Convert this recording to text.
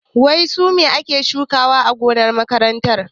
Wai su me aka shuka a gonar makaranta?